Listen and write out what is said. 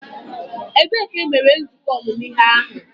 Ebee ka e mere nzukọ ọmụmụ ihe ahụ?